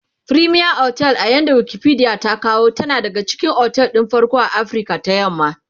fremier otel a yanda Wikipedia ta kawo tana daga cikin otel ɗin farko a Afrika ta yamma